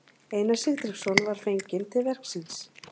Einar Sigtryggsson var fenginn til verksins.